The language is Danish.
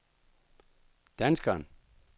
danskeren